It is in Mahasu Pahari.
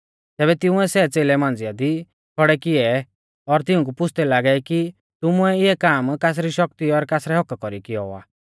तैबै तिंउऐ सै च़ेलै मांझ़ा दी खौड़ै किऐ और तिऊंकु पुछ़दै लागै कि तुमुऐ इऐ काम कासरी शक्ति और कासरै हक्क्का कौरी कियौ आ